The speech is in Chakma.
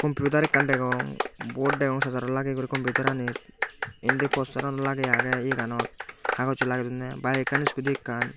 kompiutar ekkan degong bot degong sarjarot lageye guri kompiutaranit indi postaranot lageye agey eyeganot hagossoi lagey donney baek ekkan iskuti ekkan.